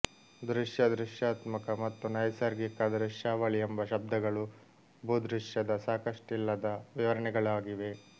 ದೃಶ್ಯ ದೃಶ್ಯಾತ್ಮಕ ಮತ್ತು ನೈಸರ್ಗಿಕ ದೃಶ್ಯಾವಳಿ ಎಂಬ ಶಬ್ದಗಳು ಭೂದೃಶ್ಯದ ಸಾಕಷ್ಟಿಲ್ಲದ ವಿವರಣೆಗಳಾಗಿವೆ